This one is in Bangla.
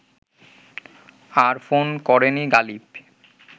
আর ফোন করেনি গালিব